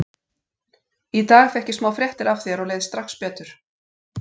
Í dag fékk ég smá fréttir af þér og leið strax betur.